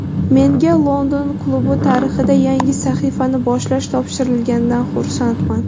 Menga London klubi tarixida yangi sahifani boshlash topshirilganidan xursandman.